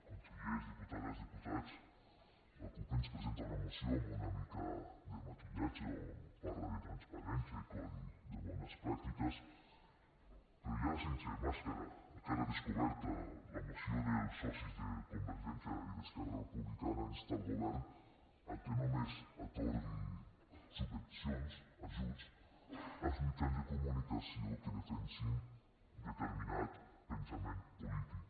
consellers diputades diputats la cup ens presenta una moció amb una mica de maquillatge on parla de transparència i codi de bones pràctiques però ja sense màscara a cara descoberta la moció dels socis de convergència i d’esquerra republicana insta el govern a que només atorgui subvencions ajuts als mitjans de comunicació que defensin determinat pensament polític